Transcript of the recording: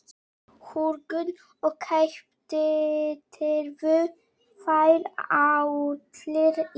Hugrún: Og keyptirðu þær allar í morgun?